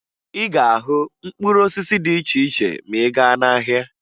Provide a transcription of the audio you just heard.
Ị ga-ahụ mkpụrụ osisi dị iche iche ma ị gaa n'ahịa